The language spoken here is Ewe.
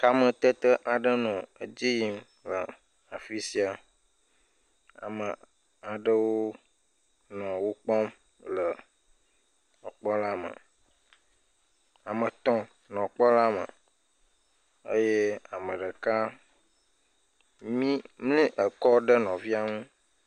Kametete aɖe nɔ edzi yim le le afi sia. Ame aɖewo nɔ wokpɔm le wokpɔla me. Ame etɔ nɔ kpɔla me eye ame ɖeka nɔ mli ekɔ ɖe nɔvia ŋu.